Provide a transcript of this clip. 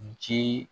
Ji